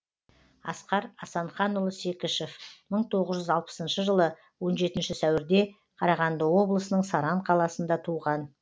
асқар асанханұлы секішев мың тоғыз жүз алпысыншы жылы он жетінші сәуірде қарағанды облысының саран қаласында туған